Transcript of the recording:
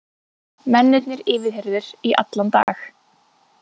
Mennirnir yfirheyrðir í allan dag